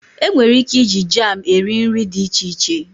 Enwere ike iji jam eri nri dị iche iche.